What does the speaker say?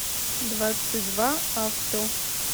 двадцатьдваавто